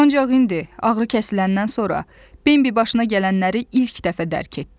Ancaq indi, ağrıkəsiləndən sonra, Bembi başına gələnləri ilk dəfə dərk etdi.